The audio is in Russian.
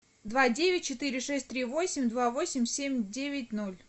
два девять четыре шесть три восемь два восемь семь девять ноль